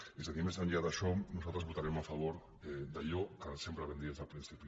és a dir més enllà d’això nosaltres votarem a favor d’allò que sempre vam dir des del principi